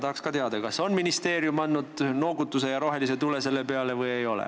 Tahaksin teada, kas ministeerium on pead noogutades näidanud sellele rohelist tuld või ei ole.